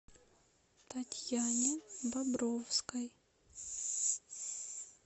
татьяне бобровской